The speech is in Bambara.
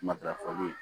Matarafoli